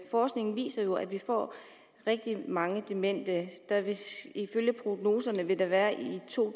forskningen viser jo at vi får rigtig mange demente ifølge prognoserne vil der i to